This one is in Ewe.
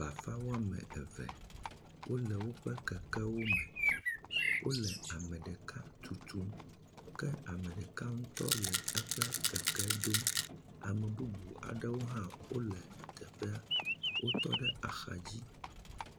Bafa woame eve, wole woƒe kekewo me. Wole ame ɖeka tutum, kea me ɖeka ŋutɔ le eƒe keke dom. Ame bubu aɖewo wole teƒea, wotɔ ɖe axadzi.